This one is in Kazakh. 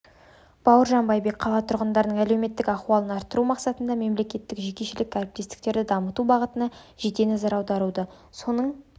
бауыржан байбек қала тұрғындарының әлеуметтік ахуалын арттыру мақсатында мемлекеттік-жекешелік әріптестікті дамыту бағытыне жете назар аударады соның